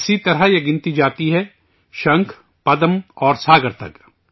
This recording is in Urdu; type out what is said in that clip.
اسی طرح یہ تعداد جاتی ہے شنکھ، پدم اور ساگر تک